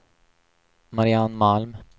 Mariann Malm